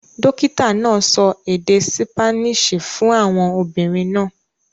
Dókìtà náà sọ èdè Sípáníìṣì fún àwọn obìnrin náà.